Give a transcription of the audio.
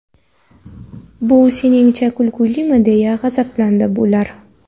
Bu seningcha kulgilimi?”, deya g‘azablandi ular.